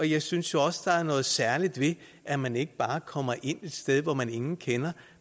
jeg synes også der er noget særligt ved at man ikke bare kommer ind et sted hvor man ingen kender